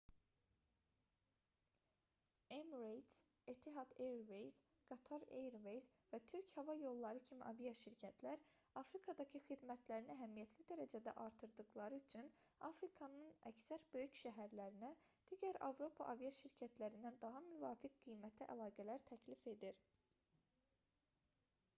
emirates etihad airways qatar airways və türk hava yolları kimi aviaşirkətlər afrikadakı xidmətlərini əhəmiyyətli dərəcədə artırdıqları üçün afrikanın əksər böyük şəhərlərinə digər avropa aviaşirkətlərindən daha müvafiq qiymətə əlaqələr təklif edir